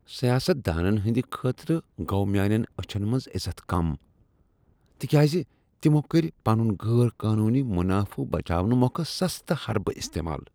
سیاست دانن ہٕند خٲطرٕ گوٚو میانین أچھن منز عزت کم تکیاز تمو کٔرۍ پنن غیر قانوٗنی منافہٕ بچاونہٕ مۄکھٕ سستہ حربہٕ استعمال۔